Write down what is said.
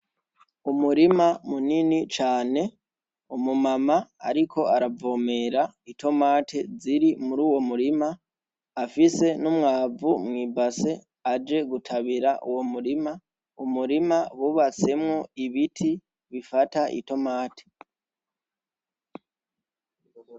Umurima munini cane , umu mama ariko aravomera itomate ziri muruwo murima, afise n’umwavu mwi base aje gutabira Uwo murima. Umurima wubatsemwo ibiti bifata Itomate.